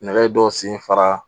Nɛgɛ dɔ sen fara